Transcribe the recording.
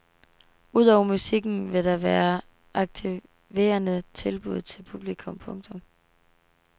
Udover musikken vil der være aktiverende tilbud til publikum. punktum